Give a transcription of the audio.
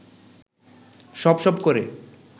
সপ সপ করে